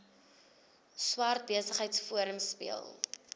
swart besigheidsforum speel